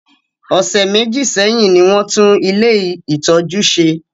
Ọ̀sẹ̀ méjì sẹ́hìn ní wọ́n tún ilé-ìtọ́jú ṣe.